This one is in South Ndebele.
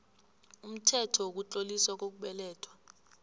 umthetho wokutloliswa kokubelethwa